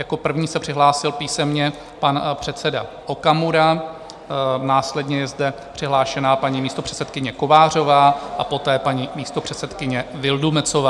Jako první se přihlásil písemně pan předseda Okamura, následně je zde přihlášená paní místopředsedkyně Kovářová a poté paní místopředsedkyně Vildumetzová.